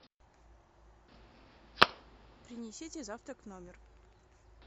принесите завтрак в номер